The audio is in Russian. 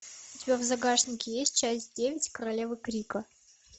у тебя в загашнике есть часть девять королева крика